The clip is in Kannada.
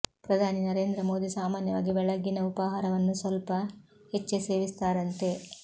ಪ್ರಧಾನಿ ನರೇಂದ್ರ ಮೋದಿ ಸಾಮಾನ್ಯವಾಗಿ ಬೆಳಗ್ಗಿನ ಉಪಾಹಾರವನ್ನು ಸ್ವಲ್ಪ ಹೆಚ್ಚೇ ಸೇವಿಸುತ್ತಾರಂತೆ